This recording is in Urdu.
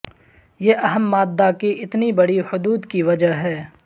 یہ اہم مادہ کی اتنی بڑی حدود کی وجہ ہے